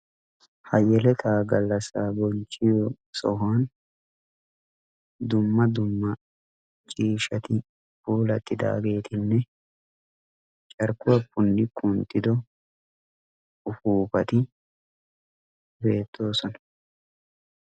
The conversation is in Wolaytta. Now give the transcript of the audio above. Ha yeletaa gallassaa bonchchiyo sohuwan dumma dumma ciishshati puulattidaagetinne carkkuwa punni kunttido upuppati beettoosona.